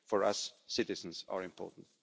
for us, citizens are important.